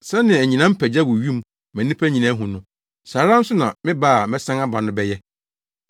Sɛnea anyinam pa gya wɔ wim ma nnipa nyinaa hu no, saa ara nso na me ba a mɛsan aba no bɛyɛ.